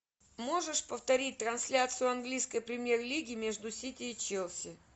можешь повторить трансляцию английской премьер лиги между сити и челси